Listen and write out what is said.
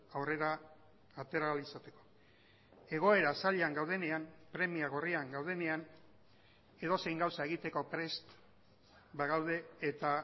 aurrera atera ahal izateko egoera zailean gaudenean premia gorrian gaudenean edozein gauza egiteko prest bagaude eta